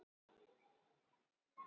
Ég hefði allt eins getað boðið